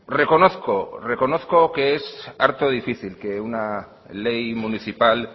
reconozco reconozco que es arto difícil que una ley municipal